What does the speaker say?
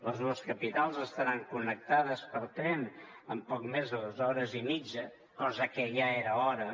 les dues capitals estaran connectades per tren en poc més de dos hores i mitja cosa que ja era hora